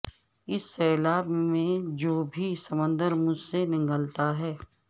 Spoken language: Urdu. اس سیلاب میں جو بھی سمندر مجھ سے نگلتا ہے